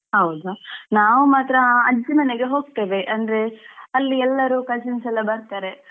ಹೌದಾ ನಾವ್ ಮಾತ್ರ ಅಜ್ಜಿ ಮನೆಗೆ ಹೋಗ್ತೇವೆ ಅಂದ್ರೆ ಅಲ್ಲಿ ಎಲ್ಲರು cousins ಎಲ್ಲಾ ಬರ್ತಾರೆ.